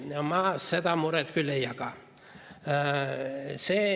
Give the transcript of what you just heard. Seda muret ma küll ei jaga.